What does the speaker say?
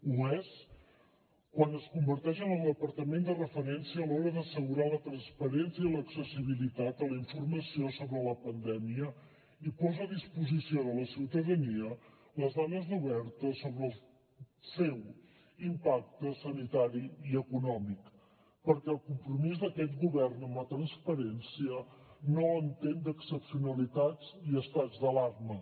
ho és quan es converteix en el departament de referència a l’hora d’assegurar la transparència i l’accessibilitat a la informació sobre la pandèmia i posa a disposició de la ciutadania les dades obertes sobre el seu impacte sanitari i econòmic perquè el compromís d’aquest govern amb la transparència no entén d’excepcionalitats ni estats d’alarma